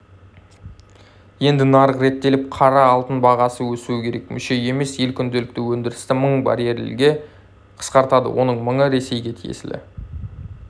енді нарық реттеліп қара алтын бағасы өсуі керек мүше емес ел күнделікті өндірісті мың баррельге қысқартады оның мыңы ресейге тиесілі